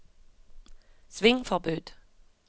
svingforbud